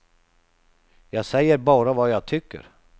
Jag säger bara vad jag tycker.